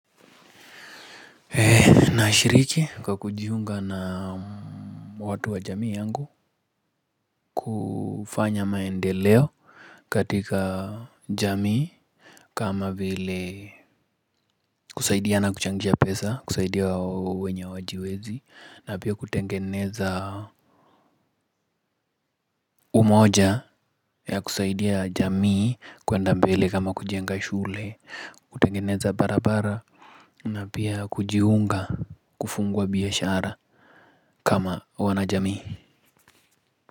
Nashiriki kwa kujiunga na watu wa jamii yangu. Kufanya maendeleo katika jamii kama vile kusaidia na kuchangisha pesa, kusaidia wenye wajiwezi. Na pia kutengeneza umoja ya kusaidia jamii kuenda mbele kama kujenga shule. Kutengeneza barabara. Na pia kujiunga kufungua biashara kama wanajamii.